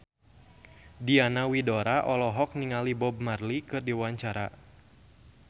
Diana Widoera olohok ningali Bob Marley keur diwawancara